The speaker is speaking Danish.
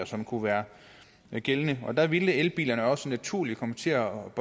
som kunne være gældende der ville elbilerne jo også naturligt komme til at